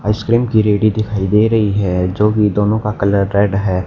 Ice cream की रेडी दिखाई दे रही है जो कि दोनो का कलर रेड है।